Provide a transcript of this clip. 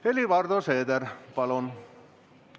Helir-Valdor Seeder, palun!